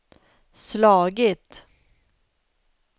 slagit